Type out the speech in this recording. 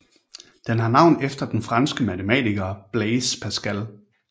Den har navn efter den franske matematiker Blaise Pascal